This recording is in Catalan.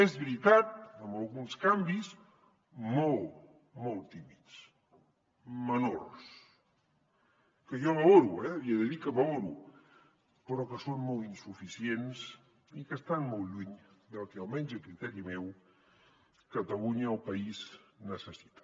és veritat amb alguns canvis molt molt tímids menors que jo valoro eh li he de dir que valoro però que són molt insuficients i que estan molt lluny del que almenys a criteri meu catalunya el país necessita